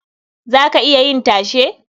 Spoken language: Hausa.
Za ka iya yin tashe?